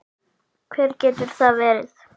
Hver getur það verið?